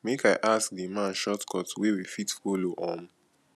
make i ask di man shortcut wey we fit folo um